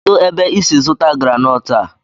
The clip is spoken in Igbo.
Kedụ ebe i si zụta granọt a?